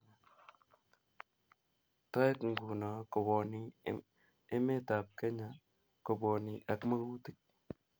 Toek nguno kowoni emetab Kenya kobwoni ak magutik